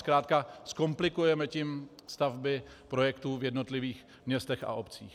Zkrátka zkomplikujeme tím stavby projektů v jednotlivých městech a obcích.